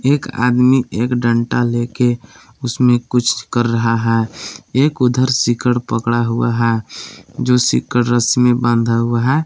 एक आदमी एक डंटा ले के उसमें कुछ कर रहा है एक उधर सीकड़ पकड़ा हुआ है जो सीकड़ रस्सी में बांधा हुआ है।